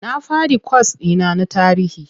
Na faɗi kwas ɗi na na tarihi.